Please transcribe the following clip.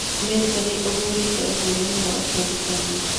Amerika nĩĩhũthereirie ũhũrani wa ũbathokanio